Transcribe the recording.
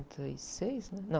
e seis, e, não.